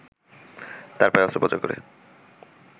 তার পায়ে অস্ত্রোপচার করে